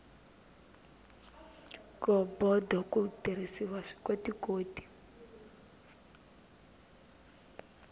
ghobodo ku tirhisiwa swikotikoti